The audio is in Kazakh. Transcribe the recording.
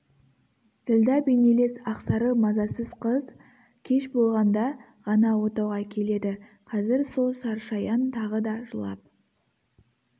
ділдә бейнелес ақсары мазасыз қыз кеш болғанда ғана отауға келеді қазір сол сарышаян тағы да жылап